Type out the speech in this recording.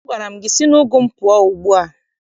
Agwara m gị si n'ugu m pụọ ugbu a!